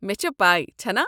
مےٚ چھےٚ پَے، چھنا؟